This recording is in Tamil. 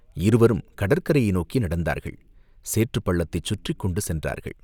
இருவரும் கடற்கரையை நோக்கி நடந்தார்கள் சேற்றுப் பள்ளத்தைச் சுற்றிக் கொண்டு சென்றார்கள்.